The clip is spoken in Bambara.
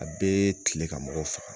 A bɛ tile ka mɔgɔw faga.